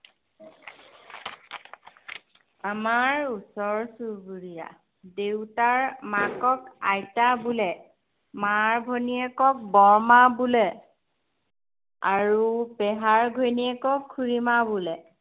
আমাৰ ওচৰ চুবুৰীয়া। দেউতাৰ মাকক আইতা বোলে। মাৰ ভনীয়েকক বৰমা বোলে। আৰু পেহাৰ ঘৈণীয়কক খুড়ীমা বোলে।